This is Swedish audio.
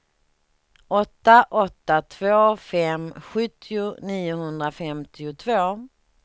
åtta åtta två fem sjuttio niohundrafemtiotvå